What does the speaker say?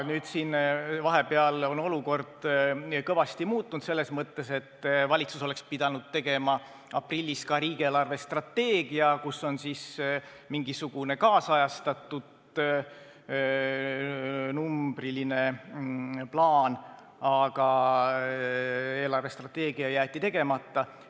Nüüd on olukord vahepeal kõvasti muutunud, selles mõttes, et valitsus oleks pidanud tegema aprillis ka riigi eelarvestrateegia, kus on mingisugune ajakohastatud numbriline plaan, aga see jäeti tegemata.